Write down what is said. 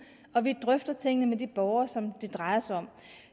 og vi drøfter tingene med de borgere som det drejer sig om